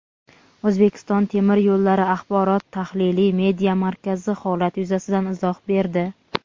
"O‘zbekiston temir yullari" Axborot-tahliliy media markazi holat yuzasidan izoh berdi.